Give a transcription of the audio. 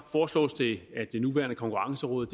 foreslås det at det nuværende konkurrenceråd